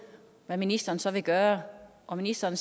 hvad ministeren så ville gøre og ministeren